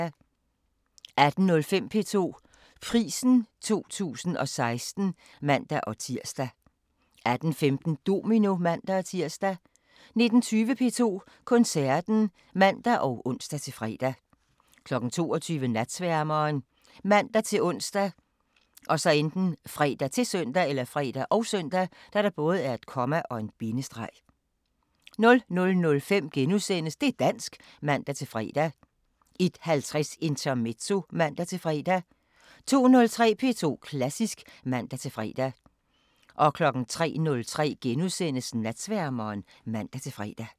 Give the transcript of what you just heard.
18:05: P2 Prisen 2016 (man-tir) 18:15: Domino (man-tir) 19:20: P2 Koncerten (man og ons-fre) 22:00: Natsværmeren ( man-ons, fre, -søn) 00:05: Det' dansk *(man-fre) 01:50: Intermezzo (man-fre) 02:03: P2 Klassisk (man-fre) 03:03: Natsværmeren *(man-fre)